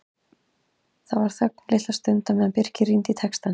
Það var þögn litla stund á meðan Birkir rýndi í textann.